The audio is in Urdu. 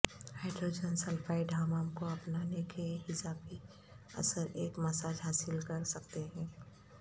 ہائیڈروجن سلفائڈ حمام کو اپنانے کے ایک اضافی اثر ایک مساج حاصل کر سکتے ہیں